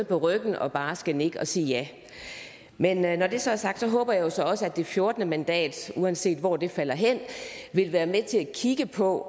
på ryggen og bare skal nikke og sige ja men når det så er sagt håber jeg så også at det fjortende mandat uanset hvor det falder hen vil være med til at kigge på